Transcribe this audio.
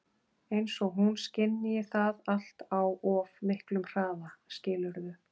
Eins og hún skynji það allt á of miklum hraða, skilurðu?